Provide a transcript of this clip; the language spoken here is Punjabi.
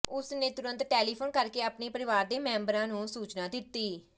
ਉਸ ਨੇ ਤੁਰੰਤ ਟੈਲੀਫੋਨ ਕਰ ਕੇ ਆਪਣੇ ਪਰਿਵਾਰ ਦੇ ਮੈਂਬਰਾਂ ਨੂੰ ਸੂਚਨਾ ਦਿੱਤੀ